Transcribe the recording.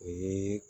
O ye